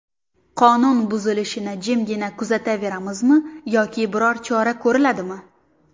Qonun buzilishini jimgina kuzataveramizmi yoki biror chora ko‘riladimi?